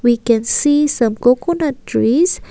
we can see some coconut trees.